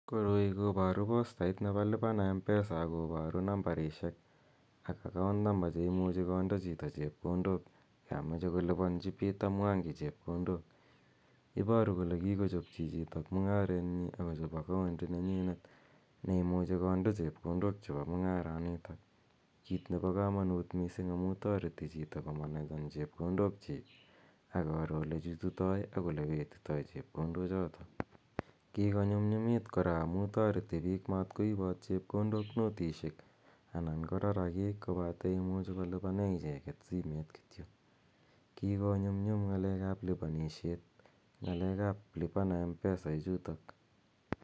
Koroi koparu postait nepo lipa na mpesa ako paru nambarishek ak account number che imuchi konde chito chepkondok ya mache kolipanchi Peter Mwangi chepkondok. Iparu kole kikochop chichitok mung'aret nyi ako chop akaondit nenyinet ne imuchi konde chepkondok chepo mung'aranitok, kiit nepo kamanuut missing' amu tareti chito komanejan chepkondok chiik akoro ole chututai akoro ole petitai chepkondochotok. Kikonyumnyumit kora amu tareti piik matkoipat chrpkondok notisiek anan ko raragiik kopate imuchi kolipane icheget simeet kityo. Kikonyumnyum ng'alek ap lipanishet ng'alek ap lipa na mpesa ichutok.